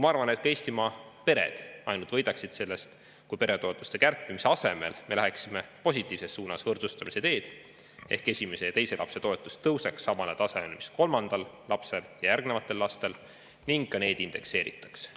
Ma arvan, et Eestimaa pered ainult võidaksid sellest, kui peretoetuste kärpimise asemel me läheksime positiivses suunas, võrdsustamise teed, nii et esimese ja teise lapse toetus tõuseks samale tasemele, mis on kolmanda lapse ja järgnevate laste, ning ka neid indekseeritaks.